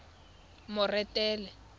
moretele